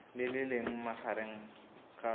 le le leng magareng ga